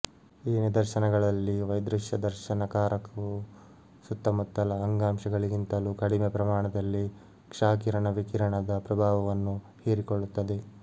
ಈ ನಿದರ್ಶನಗಳಲ್ಲಿ ವೈದೃಶ್ಯದರ್ಶನ ಕಾರಕವು ಸುತ್ತಮುತ್ತಲ ಅಂಗಾಂಶಗಳಿಗಿಂತಲೂ ಕಡಿಮೆ ಪ್ರಮಾಣದಲ್ಲಿ ಕ್ಷಕಿರಣ ವಿಕಿರಣದ ಪ್ರಭಾವವನ್ನು ಹೀರಿಕೊಳ್ಳುತ್ತದೆ